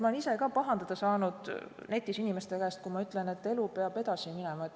Ma olen ise ka netis pahandada saanud inimeste käest, kui ma ütlen, et elu peab edasi minema.